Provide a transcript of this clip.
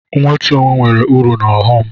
Nwetu onwe nwere uru na ọghọm.